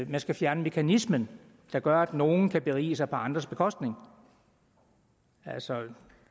man skal fjerne mekanismen der gør at nogle kan berige sig på andres bekostning altså